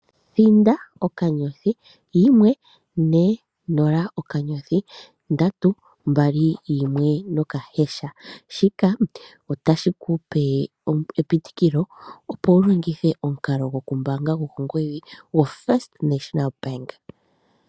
Thinda okanyothi, yimwe, ne, nola okanyothi ndatu, mbali, yimwe noka hash. Shika otashi ku pe epitikilo opo wu longithe omukalo gokumbaanga gwokongodhi gwo First National Bank.